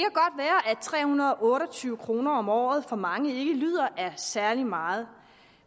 tre hundrede og otte og tyve kroner om året for mange ikke lyder af særlig meget